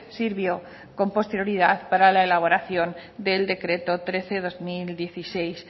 sirvió con posterioridad para la elaboración del decreto trece barra dos mil dieciséis